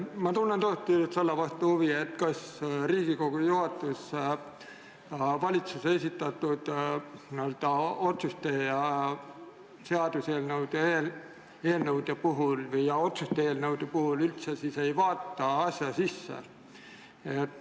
Ma tunnen tõesti huvi selle vastu, kas Riigikogu juhatus valitsuse esitatud seaduseelnõude ja otsuse eelnõude puhul üldse ei vaata asja sisse.